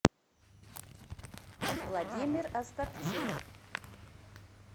владимир остапчук